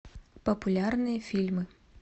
популярные фильмы